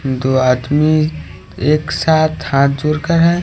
दो आदमी एक साथ हाथ जोड़कर है।